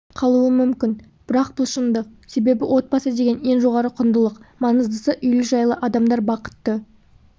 қалуы мүмкін бірақ бұл шындық себебі отбасы деген ең жоғары құндылық маңыздысы үйлі-жайлы адамдар бақытты